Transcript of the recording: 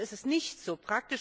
Praktisch ist es nicht so.